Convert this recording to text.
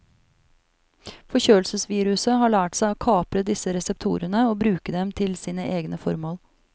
Forkjølelsesviruset har lært seg å kapre disse reseptorene og bruke dem til sine egne formål.